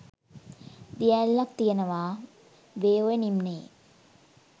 දිය ඇල්ලක් තියෙනවා වේ ඔය නිම්නයේ.